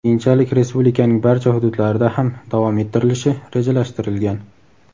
Keyinchalik respublikaning barcha hududlarida ham davom ettirilishi rejalashtirilgan.